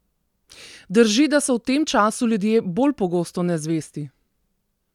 Drži, da so v tem času ljudje bolj pogosto nezvesti?